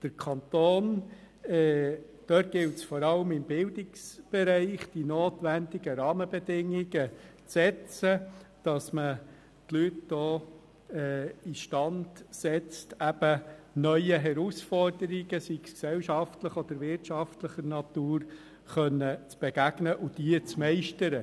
Im Kanton gilt es vor allem im Bildungsbereich, die nötigen Rahmenbedingungen zu setzen, damit man die Leute auch in die Lage versetzt, auch neuen Herausforderungen zu begegnen und sie meistern zu können, seien sie jetzt wirtschaftlicher oder gesellschaftlicher Natur.